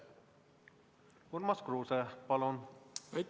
Urmas Kruuse, palun!